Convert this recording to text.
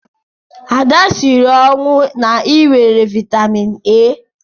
Ada siri ọnwụ na-ịwere vitamin A.